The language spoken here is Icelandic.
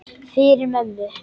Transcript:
Fyrir mömmu.